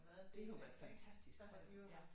Det har jo været fantastisk for dem ja